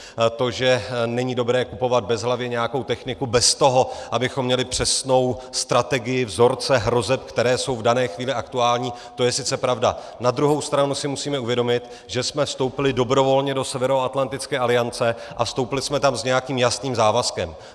To, že není dobré kupovat bezhlavě nějakou techniku bez toho, abychom měli přesnou strategii, vzorce hrozeb, které jsou v dané chvíli aktuální, to je sice pravda, na druhou stranu si musíme uvědomit, že jsme vstoupili dobrovolně do Severoatlantické aliance a vstoupili jsme tam s nějakým jasným závazkem.